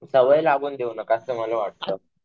सवय लागून देऊ नका असं मला वाटतं.